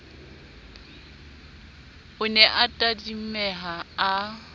o ne a tadimeha a